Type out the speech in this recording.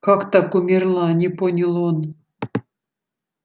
как так умерла не понял он